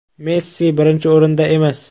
Messi birinchi o‘rinda emas.